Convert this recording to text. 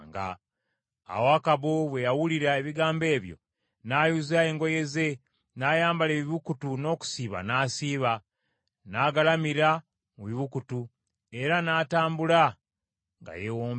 Awo Akabu bwe yawulira ebigambo ebyo, n’ayuza engoye ze, n’ayambala ebibukutu n’okusiiba n’asiiba. N’agalamira mu bibukutu, era n’atambula nga yeewombeese.